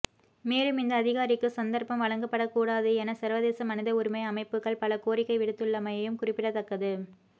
மேலும் இந்த அதிகாரிக்கு சந்தர்ப்பம் வழங்கப்படக்கூடாது என சர்வதேச மனித உரிமை அமைப்புக்கள் பல கோரிக்கை விடுத்துள்ளமையும் குறிப்பிடத்தக்கது